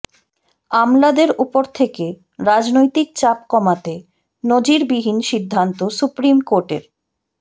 আমলাদের উপর থেকে রাজনৈতিক চাপ কমাতে নজিরবিহীন সিদ্ধান্ত সুপ্রিম কোর্টের